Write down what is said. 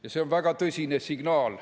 Ja see on väga tõsine signaal.